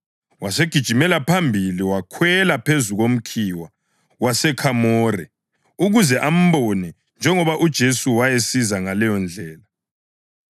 Wasegijimela phambili, wakhwela phezu komkhiwa wesikhamore ukuze ambone njengoba uJesu wayesiza ngaleyondlela.